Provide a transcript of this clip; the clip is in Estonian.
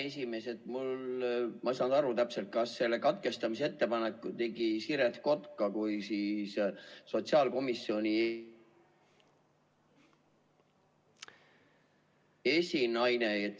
Ma ei saanud täpselt aru, kas selle katkestamisettepaneku tegi Siret Kotka kui sotsiaalkomisjoni esinaine.